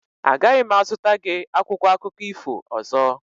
Agaghị m azụta gị akwụkwọ akụkọ ifo ọzọ.